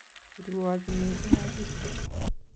Irwochi mising agui